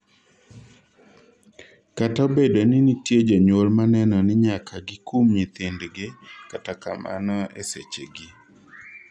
kata obedo ni nitie jonyuol maneno ni nyaka gikum nyithind'gi kata kamano esechegi